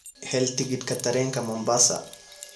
hel tigidhka tareenka Mombasa